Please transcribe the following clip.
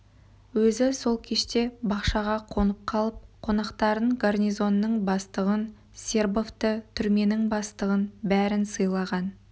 өзі сол кеште бақшаға қонып қалып қонақтарын гарнизонның бастығын сербовты түрменің бастығын бәрін сыйлаған